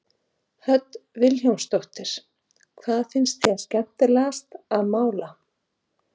Hödd Vilhjálmsdóttir: Hvað finnst þér skemmtilegast að mála?